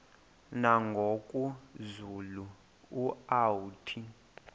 nangoku zulu uauthi